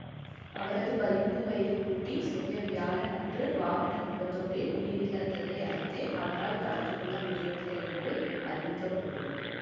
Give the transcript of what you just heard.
அவரது பதிமூன்று வயது பூட்டி சென்ற வியாழன் அன்று வாகன விபத்தொன்றில் உயிரிழந்ததை அடுத்தே அவரால் கலந்து கொள்ள முடியவில்லை என்று அறிவிக்க பட்டுள்ளது